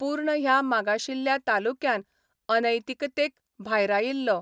पूर्ण ह्या मागाशिल्ल्या तालुक्यान अनैतिकतेक भायरायिल्लो.